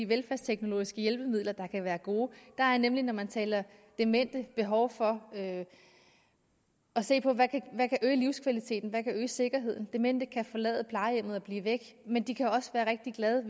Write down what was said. velfærdsteknologiske hjælpemidler der kan være gode der er nemlig når man taler om demente behov for at se på hvad der kan øge livskvaliteten hvad der kan øge sikkerheden demente kan forlade plejehjemmet og blive væk men de kan også være rigtig glade